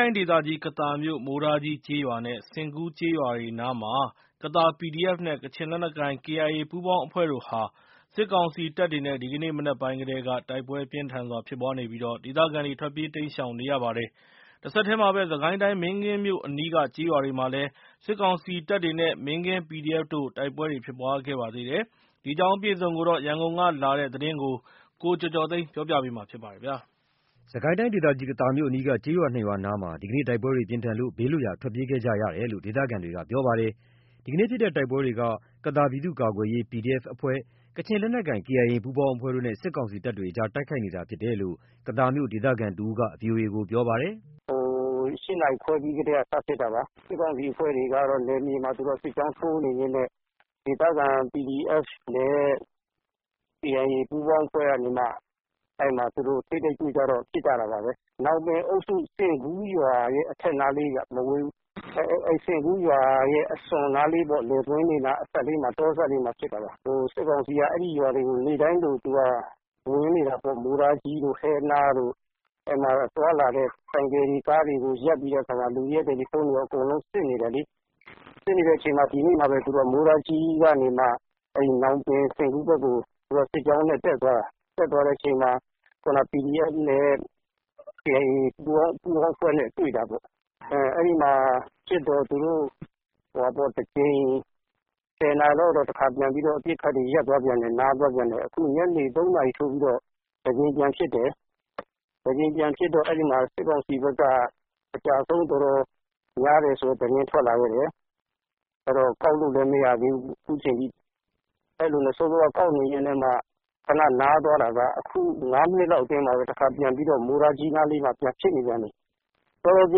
ိုင်းဒေသကြီး ကသာမြို့ မိုးတားကြီး ကျေးရွာနဲ့ ဆင်ကူး ကျေးရွာတွေနားမှာ စစ်တပ်တဲ့ ပြည်သူ့ကာကွယ်ရေးတပ်တွေ ဒီနေ့ ဇွန် ၂၄ ရက်နေ့ မနက်ပိုင်းကတည်းက တိုက်ပွဲပြင်းထန်စွာ ဖြစ်နေလို့ ဒေသခံတွေ ဘေးလွတ်ရာ ထွက်ပြေးနေကြရပါတယ်။ စစ်ကိုင်းတိုင်းထဲကပဲ မင်းကင်းမြို့အနီးက ကျေးရွာတွေမှာလည်း စစ်ကောင်စီတပ်တွေနဲ့ မင်းကင်း PDF တို့ တိုက်ပွဲဖြစ်ပွားပါသေးတယ်။ ဒီအကြောင်း အပြည့်အစုံ ရန်ကုန်က လာတဲ့ သတင်းကို ကိုကျော်ကျော်သိန်းကပြောပြပါမယ်။ စစ်ကိုင်းတိုင်းဒေသကြီး ကသာမြို့ အနီးက မိုးတားကြီး ကျေးရွာ နဲ့ ဆင်ကူးကျေးရွာအနီးမှာ ဒီနေ့ တိုက်ပွဲတွေ ပြင်းထန်လို့ ဘေးလွတ်ရာ ထွက်ပြေးခဲ့ကြရတယ်လို့ ဒေသခံတွေက ပြောပါတယ်။ ဒီနေ့ဖြစ်တဲ့ တိုက်ပွဲတွေက ကသာပြည်သူ့ကာကွယ်ရေး PDF အဖွဲ့၊ ကချင်လက်နက်ကိုင် KIA ပူးပေါင်းအဖွဲ့တို့နဲ့ စစ်ကောင်စီတပ်တွေကြား တိုက်ခိုက်နေတာဖြစ်တယ်လို့ ကသာမြို့ ဒေသခံတဦးက အခုလိုပြောပါတယ်။ “၈ နာရီခွဲကတည်းက စဖြစ်တာ စစ်ကောင်စီတပ်ဖွဲ့တွေက နယ်မြေမှာ စစ်ကြောင်းထိုးနေရင်းနဲ့ ဒေသခံ PDF နဲ့ KIA ပူးပေါင်း အဖွဲ့ကနေမှ ထိပ်တိုက်တွေ့ကြတော့ ပစ်ကြတာပါပဲ။ ညောင်ပင်အုပ်စု ဆင်ကူးရွာရဲ့ အထက်နားလေးပဲ မဝေးဘူး။ ဆင်ကူးရွာရဲ့ အစွန်နားလေးပေါ့ လယ်ကွင်းအစပ်လေးမှာ တောအစပ်လေးမှာ ဖြစ်တာပါ။ စစ်ကောင်စီက အဲ့ဒီရွာတွေကို နေ့တိုင်းလိုလို ဝင်နေတာပေါ့ မိုးတားကြီးတို့ ဟဲနားတို့ သွားလာတဲ့ ဆိုင်ကယ်တွေ ကားတွေကို ရပ်ပြီးတော့ လူတွေရဲ့တယ်လီဖုန်းတွေအကုန်လုံး စစ်နေတယ်လေ။ စစ်နေတဲ့အချိန်မှာပဲ ဒီနေ့မှာပဲ မိုးတားကြီးကနေမှာ ညောင်ပင် ဆင်ကူးဘက်ကို စစ်ကြောင်းနဲ့ တက်သွားတာ။ တက်သွားတဲ့အချိန်မှာ ခုနက PDF နဲ့ KIA ပူးပေါင်း အဖွဲ့နဲ့ တွေ့တာပေါ့။ အဲ့ဒီမှာ ပစ်တော့ သူတို့တကြိမ် ၁၀ နာရီလောက်မှာ အပစ်ခတ်တွေ ရပ်သွားသေးတယ်။ အခုညနေ ၃ နာရီထိုးပြီးတော့ တကြိမ် ထပ်ဖြစ်တယ်။ တကြိမ်ပြန်ဖြစ်တော့ စစ်ကောင်စီဘက်က အကျအဆုံး တော်တော်များတယ်ဆိုတဲ့ သတင်းထွက်လာခဲ့တယ်။ ကောက်လို့လည်းမရသေးဘူး အခုချိန်ထိ အစောက ကောက်နေရင်းနဲ့ မှ ခဏနားသွားတာကနေ အခု ၅ မိနစ်လောက်မှာပဲ မိုးတားကြီးနားမှာ တခါထပ်ပစ်နေပြန်ပီ။ တော်တော်ပြ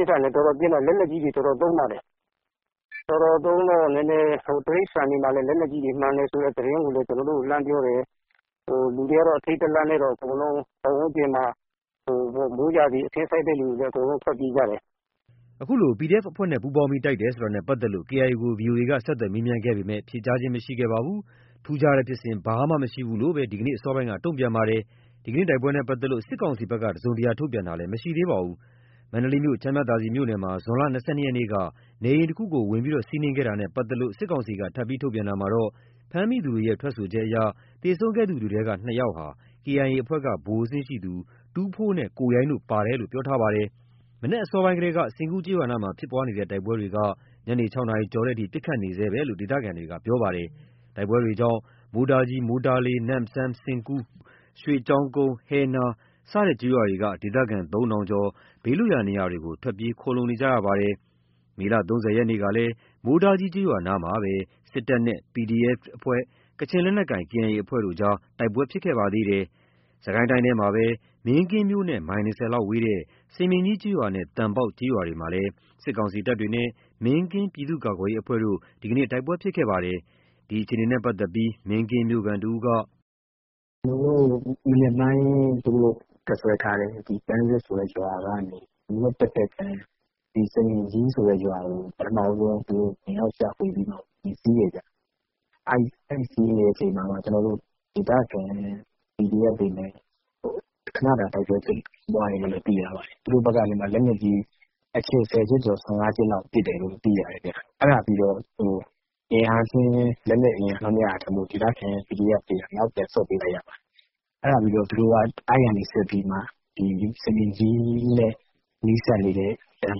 င်းထန်တယ်။ လက်နက်ကြီးတွေ တော်တော်လည်း သုံးတယ်။ တော်တော်သုံးတော့ တိရစ္ဆာန်တွေမှာလည်း လက်နက်ကြီးထိမှန်တယ်ဆိုတဲ့ သတင်းလည်း ကျွန်တော်တို့ကို လှမ်းပြောတယ်။ လူတွေကတော့ အထိတ် တလန့်နဲ့ အကုန်လုံး ပတ်ဝန်းကျင်မှာ မိုးရာသီ အခင်းစိုက်တဲ့သူတွေလည်း ထွက်ပြေးကြတယ်။” ခုလို PDF အဖွဲ့နဲ့ ပူးပေါင်းပြီး တိုက်တယ်ဆိုတာနဲ့ပါတ်သက်လို့ KIA ကိုဗီအိုအေက ဆက်သွယ်မေးပေမဲ့ ဖြေကြားခြင်းမရှိပါဘူး။ ထူးခြားတဲ့ ဖြစ်စဉ်ဘာမှမရှိဘူးလို့သာ ဒီနေ့ အစောပိုင်းက တုံ့ပြန်ပါတယ်။ ဒီနေ့တိုက်ပွဲနဲ့ ပတ်သက်လို့ စစ်ကောင်စီဖက်က တစုံတရာ ထုတ်ပြန်ခြင်းမရှိသေးပါဘူး။ မန္တလေးမြို့ ချမ်းမြသာစည်မြို့နယ်မှာ ဇွန်လ ၂၂ ရက်နေ့က နေအိမ်တခုဝင်စီးနင်းမှုနဲ့ ပါတ်သက်လို့ စစ်ကောင်စီက ထပ်မံ ထုတ်ပြန်တာမှာတော့ ဖမ်းမိသူတွေရဲ့ ထွက်ဆိုချက်အရ သေဆုံးခဲ့သူတွေထဲက ၂ ယောက်ဟာ KIA အဖွဲ့က ဗိုလ်အဆင့်ရှိသူ ထူးဖိုးနဲ့ကိုရိုင်းတို့ပါတယ်လို့ပြောထားပါတယ်။ မနက်အစောပိုင်းကတည်းက ဆင်ကူးကျေးရွာနားမှာ ဖြစ်ပွားနေတဲ့တိုက်ပွဲတွေက ညနေ ၆ နာရီကျော်တဲ့အထိ ပစ်ခတ်နေဆဲလို့ ဒေသခံတွေက ပြောပါတယ်။ တိုက်ပွဲတွေကြောင့် မိုးတားကြီး မိုးတားလေး နမ့်စမ်း ဆင်ကူး ရွှေကျောင်းကုန်း ဟဲနား စတဲ့ ကျေးရွာတွေက ဒေသခံ ၃ ထောင်ကျော်ဟာ ဘေးလွတ်ရာ နေရာတွေကို ထွက်ပြေး ခိုလှုံနေကြရပါတယ်။ မေလ ၃၀ ရက်ကလည်း မိုးတားကြီး ကျေးရွာနားမှာပဲ စစ်တပ်နဲ့ ဒေသခံ ပြည်သူ့ကာကွယ်ရေးအဖွဲ့ PDF ၊ ကချင်လက်နက်ကိုင်အဖွဲ့ KIA ပူးပေါင်းအဖွဲ့တို့ကြား တိုက်ပွဲတွေဖြစ်ခဲ့ပါသေးတယ်။ စစ်ကိုင်းတိုင်းထဲမှာပဲ မင်းကင်းမြို့နဲ့ မိုင် ၂၀ လောက်ဝေးတဲ့ စမြင်ကြီး ကျေးရွာနဲ့ သံပေါက် ကျေးရွာတွေမှာလည်း စစ်ကောင်စီတပ်တွေနဲ့ မင်းကင်း ပြည်သူ့ကာကွယ်ရေးအဖွဲ့တို့ ဒီနေ့ တိုက်ပွဲဖြစ်ပွားခဲ့ပါသေးတယ်။ ဒီအခြေအနေနဲ့ ပတ်သက်လို့ မင်းကင်းမြို့ခံ တဦးက “မနက်ပိုင်းက သူတို့တပ်စွဲထားတဲ့ ပန်းဆက်ဆိုတဲ့ ရွာကနေ မြစ်တဖက်ကမ်း စမြင်ကြီးဆိုတဲ့ရွာကို ဝင်ရောက်ရှာဖွေပြီးမှ ဝင်စီးတယ်ခင်ဗျ။ အဲ့စီးနေတဲ့အချိန်မှာ ဒေသခံ PDF တွေနဲ့ ခဏတိုက်ပွဲဖြစ်ပွားတယ်။ သူတို့ဘက်က လက်နက်ကြီး ၁၀ ချက်ကျော် ၁၅ ချက်လောက် ပစ်တယ်လို့ သိရတယ်။ အဲ့ဒါပြီးတော့ လက်နက်ချင်း အင်းအားချင်းမမျှလို့ ဒေသခံ PDF တွေက နောက်ပြန် ဆုတ်ပေးလိုက်ရတယ်။ အဲ့ဒါပြီးတော့ သူတို့က စမြင်ကြီးနဲ့ နီးစပ်နေတဲ့ သံ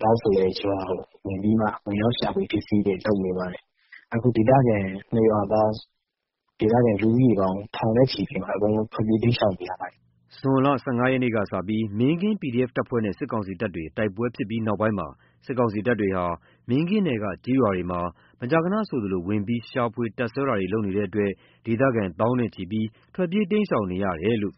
ပေါက်ဆိုတဲ့ ရွာကို ဝင်ရောက်ရှာဖွေတာတွေ လုပ်နေတယ်။ အဲ့ ၂ ရွာပေါင်း ဒေသခံ ထောင်နဲ့ချီ ထွက်ပြေး တိမ်းရှောင်နေရတယ်။” ဇွန်လ ၁၅ ရက်နေ့က စပြီး မင်းကင်း PDF တပ်ဖွဲ့နဲ့ စစ်ကောင်စီတပ်တွေ တိုက်ပွဲဖြစ်ပြီးနောက်ပိုင်းမှာ စစ်ကောင်စီတပ်တွေဟာ မင်းကင်းနယ်က ကျေးရွာတွေမှာ မကြာခဏဆိုသလို ဝင်ရောက်ရှာဖွေ တပ်စွဲတာတွေပြုလုပ်နေတဲ့အတွက် ဒေသခံ သောင်းနဲ့ချီဟာ ထွက်ပြေးတိမ်းရှောင်နေရတယ်လို့